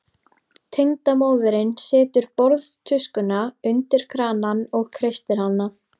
Tengdamóðirin setur borðtuskuna undir kranann og kreistir hana.